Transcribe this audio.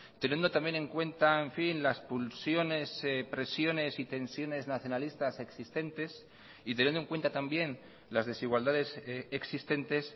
teniendo también en cuenta en fin las pulsiones presiones y tensiones nacionalistas existentes y teniendo en cuenta también las desigualdades existentes